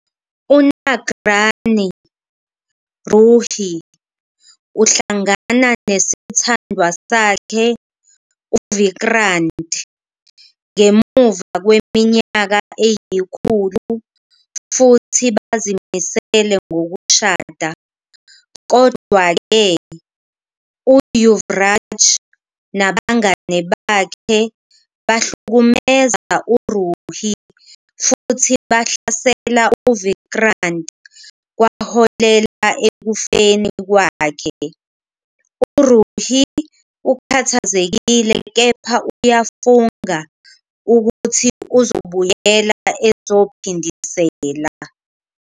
UNaagrani Ruhi uhlangana nesithandwa sakhe uVikrant ngemuva kweminyaka eyikhulu futhi bazimisele ngokushada. Kodwa-ke, uYuvraj nabangane bakhe bahlukumeza uRuhi futhi bahlasela uVikrant kwaholela ekufeni kwakhe. URuhi ukhathazekile kepha uyafunga ukuthi uzobuyela ezophindisela.